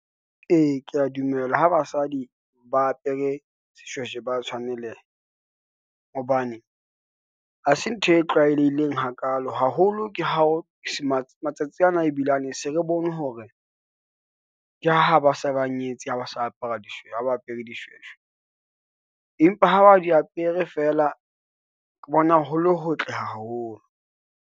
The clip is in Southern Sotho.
Ee, kea dumela ho basadi ba apere seshweshwe ba tshwaneleha, hobane hase ntho e tlwaelehileng hakalo, haholo ke hao matsatsi ana ebile lane se re bone hore, ke ha ba se ba nyetse ha ba apere dishweshwe, empa ha ba di apere fela, ke bona ho le hotle haholo.